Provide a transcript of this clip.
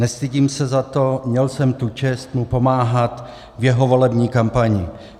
Nestydím se za to, měl jsem tu čest mu pomáhat v jeho volební kampani.